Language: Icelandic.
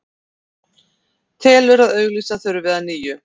Telur að auglýsa þurfi að nýju